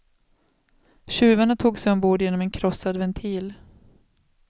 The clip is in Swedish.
Tjuvarna tog sig ombord genom en krossad ventil.